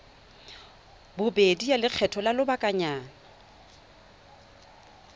bobedi ya lekgetho la lobakanyana